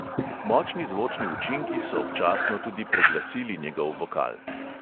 Močni zvočni učinki so občasno tudi preglasili njegov vokal.